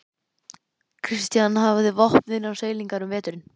Christian hafði vopn innan seilingar um veturinn.